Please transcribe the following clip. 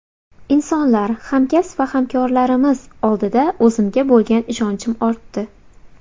Insonlar, hamkasb va hamkorlarimiz oldida o‘zimga bo‘lgan ishonchim ortdi.